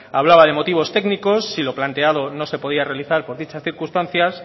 hablaba de motivos técnicos si lo planteado no se podía realizar por dichas circunstancia la